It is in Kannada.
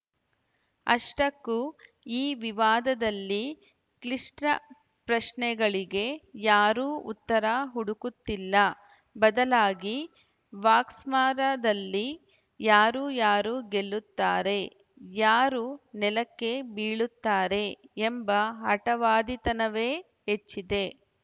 ಅಷ್ಟಕ್ಕೂ ಈ ವಿವಾದದಲ್ಲಿ ಕ್ಲಿಷ್ಟಪ್ರಶ್ನೆಗಳಿಗೆ ಯಾರೂ ಉತ್ತರ ಹುಡುಕುತ್ತಿಲ್ಲ ಬದಲಾಗಿ ವಾಕ್ಸಮರದಲ್ಲಿ ಯಾರು ಯಾರು ಗೆಲ್ಲುತ್ತಾರೆ ಯಾರು ನೆಲಕ್ಕೆ ಬೀಳುತ್ತಾರೆ ಎಂಬ ಹಟವಾದಿತನವೇ ಹೆಚ್ಚಿದೆ